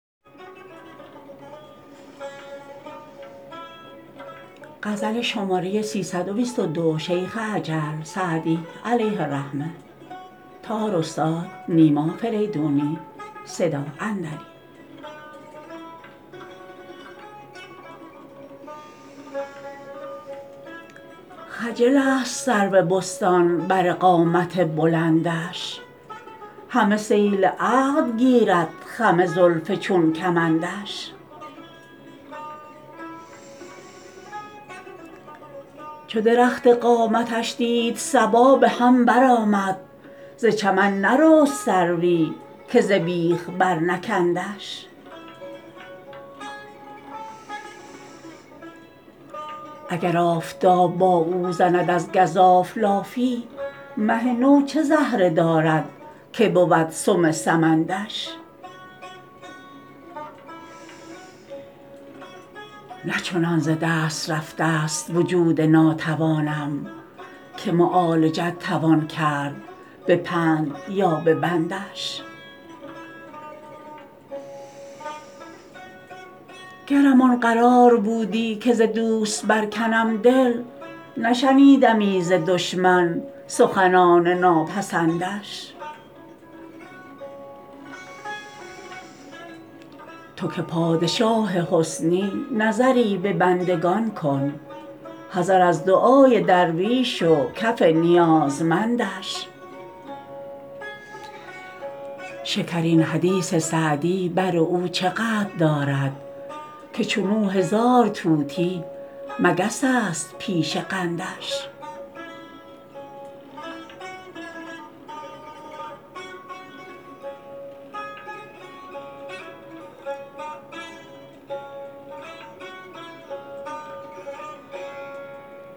خجل است سرو بستان بر قامت بلندش همه صید عقل گیرد خم زلف چون کمندش چو درخت قامتش دید صبا به هم برآمد ز چمن نرست سروی که ز بیخ برنکندش اگر آفتاب با او زند از گزاف لافی مه نو چه زهره دارد که بود سم سمندش نه چنان ز دست رفته ست وجود ناتوانم که معالجت توان کرد به پند یا به بندش گرم آن قرار بودی که ز دوست برکنم دل نشنیدمی ز دشمن سخنان ناپسندش تو که پادشاه حسنی نظری به بندگان کن حذر از دعای درویش و کف نیازمندش شکرین حدیث سعدی بر او چه قدر دارد که چون او هزار طوطی مگس است پیش قندش